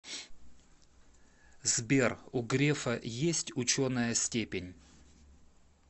сбер у грефа есть ученая степень